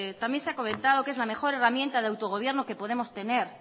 meter también se ha comentado que es la mejor herramienta de autogobierno que podemos tener